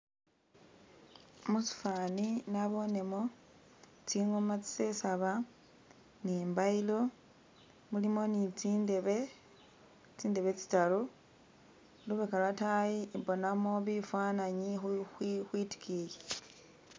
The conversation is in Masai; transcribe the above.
Musifani nabonemo tsi'ngooma tsisesaba ni'mbayilo mulimo ni'tsindebe tsindebe tsitaru lubeka lwatayi mbonamo bifananyi khwikhwitikiyi